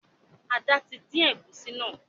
Ada tí dín egusi náa